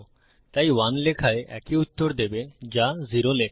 তাই 1 লেখায় একই উত্তর দেবে যা 0 লেখায়